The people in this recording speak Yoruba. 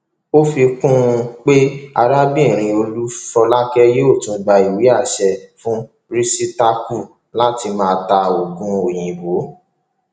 ó fi kún un pé arábìnrin olúfolákè yóò tún gba ìwé àṣẹ fún rìsítákù láti máa ta oògùn òyìnbó